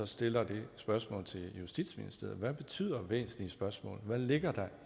stiller det spørgsmål til justitsministeriet hvad betyder væsentlige spørgsmål hvad ligger